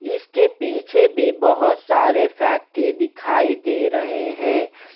इसके पीछे भी बहुत सारे फैक्ट्री दिखाई दे रहे हैं।